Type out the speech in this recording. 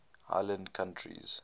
island countries